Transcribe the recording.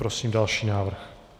Prosím další návrh.